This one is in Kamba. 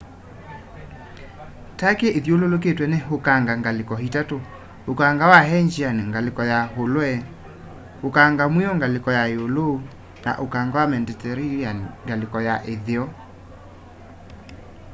turkey ithyululitwe ni ukanga ngaliko itatu ũkanga wa aegean ngaliko ya ulwe ukanga mwiu ngaliko ya iulu na ukanga wa mediterranean ngaliko ya itheo